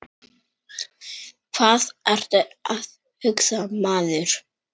Hvað ertu að hugsa, maður?